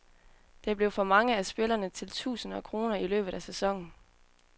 Det blev for mange af spillerne til tusind kroner i løbet af sæsonen.